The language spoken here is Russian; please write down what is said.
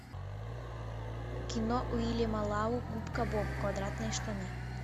кино уильяма лау губка боб квадратные штаны